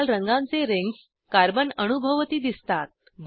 लाल रंगांचे rings carbon अणूभोवती दिसतात